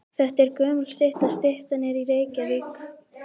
Þetta er gömul stytta. Styttan er í Reykjavík.